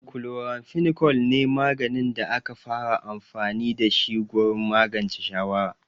Chloramphenicol ne maganin da aka fara amfani da shi gurin magance shawara.